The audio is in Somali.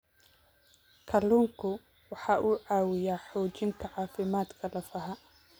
Kalluunku waxa uu caawiyaa xoojinta caafimaadka lafaha.